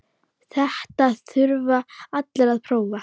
Þetta þurfa allir að prófa.